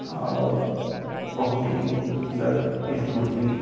और बहुत ही सुन्दर इस मुरली --